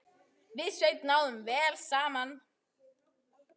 Við Sveinn náðum vel saman.